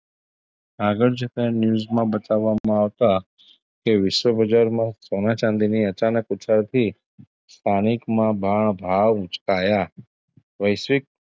આગળ જતાં news માં બતાવામાં આવતાં કે વિશ્વ બજારમાં સોનાં -ચાંદીની અચાનક ઉછળતી સ્થાનિકમાં ભ ભાભાવ ઉચકાયા વૈશ્વિક,